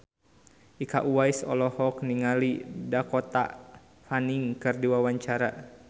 Iko Uwais olohok ningali Dakota Fanning keur diwawancara